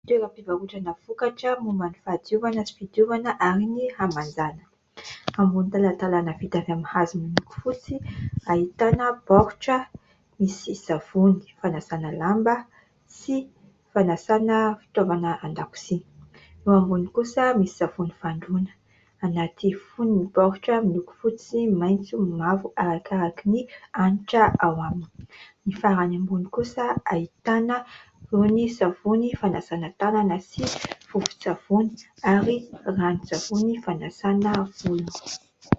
Toeram-pivarotana vokatra momban'ny fahadiovana sy fidiovana ary ny hamanjana. Ambony talantalana vita avy amin'ny hazo miloko fotsy ahitana baoritra : misy savony fanasana lamba sy fanasana fitaovana an-dakozia. Eo ambony kosa misy savony fandroana anaty fonony ny baoritra miloko : fotsy, maitso, ny mavo arakaraka ny hanitra ao aminy. Ny farany ambony kosa ahitana ny savony fanasana tanana sy vovo-tsavony ary ranon-tsavony fanasana volo.